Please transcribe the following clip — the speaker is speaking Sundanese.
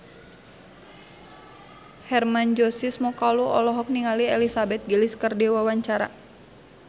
Hermann Josis Mokalu olohok ningali Elizabeth Gillies keur diwawancara